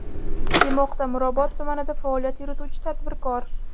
demoqda Mirobod tumanida faoliyat yurituvchi tadbirkor.